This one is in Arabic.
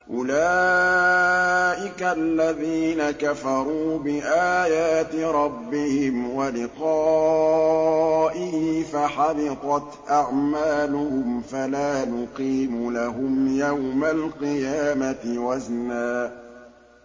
أُولَٰئِكَ الَّذِينَ كَفَرُوا بِآيَاتِ رَبِّهِمْ وَلِقَائِهِ فَحَبِطَتْ أَعْمَالُهُمْ فَلَا نُقِيمُ لَهُمْ يَوْمَ الْقِيَامَةِ وَزْنًا